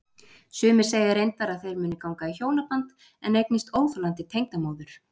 Sumir segja reyndar að þeir muni ganga í hjónaband en eignist óþolandi tengdamóður.